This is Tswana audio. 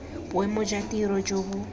boemo jwa tiro jo bo